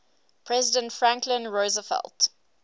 president franklin roosevelt